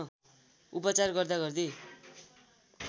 उपचार गर्दा गर्दै